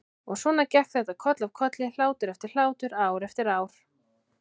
Og svona gekk þetta koll af kolli, hlátur eftir hlátur, ár eftir ár.